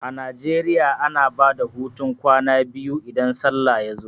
A Najeriya ana bada hutun kwana biyu idan sallah ya zo